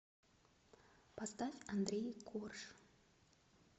поставь андрей корж